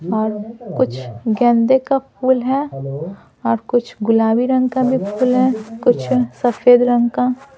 और कुछ गेंदे का फूल है और कुछ गुलाबी रंग का भी फूल है कुछ सफेद रंग का।